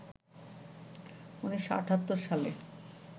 ১৯৭৮ সালে